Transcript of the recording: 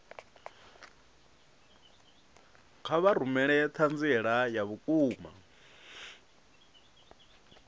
kha vha rumele ṱhanziela ya vhukuma